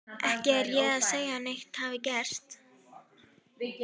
Ég er ekki að segja að neitt hafi gerst.